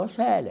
Ô, Célia,